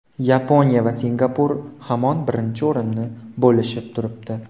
Yaponiya va Singapur hamon birinchi o‘rinni bo‘lishib turibdi.